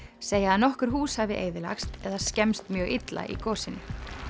segja að nokkur hús hafi eyðilagst eða skemmst mjög illa í gosinu